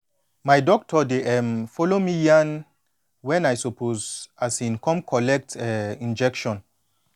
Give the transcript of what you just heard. my doctor dey um follow me yan wen i suppose um come collect um injection